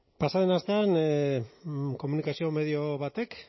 pasa den astean komunikazio medio batek